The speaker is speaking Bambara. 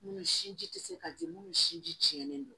Munnu sinji tɛ se ka di minnu sinji tiɲɛnen don